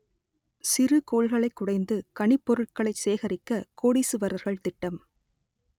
சிறுகோள்களைக் குடைந்து கனிப்பொருட்களைச் சேகரிக்க கோடீசுவரர்கள் திட்டம்